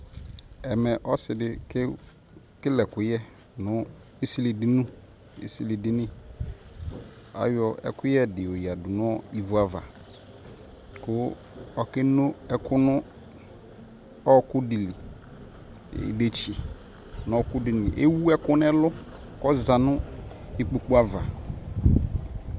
Ɛmɛ ɔsi di kekele ɛkʋyɛ nʋ esili dini esili dini Ayɔ ɛkʋyɛ di yadʋ nʋ ivu ava kʋ okenu ɛkʋ dʋ nʋ ɔɔkʋ di lι, idetsi nʋ ɔɔkʋ di lι Ewu ɛkɛ nʋ ɛlʋ kʋ ɔza nʋ ikpokʋ ava